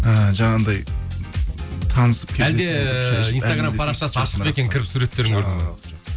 ііі жаңағындай танысып әлде инстаграм парақшасы ашық па екен кіріп суреттерін көріп